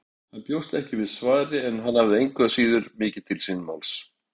Hann bjóst ekki við svari en hafði engu að síður mikið til síns máls.